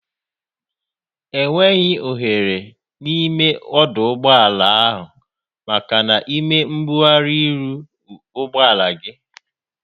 Enweghị oghere n'ime ọdụ ụgbọala ahụ maka ịme mgbugharị iru ụgbọala gị.